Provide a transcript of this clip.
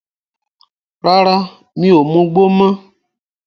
Rárá, mi ò mugbó mọ́.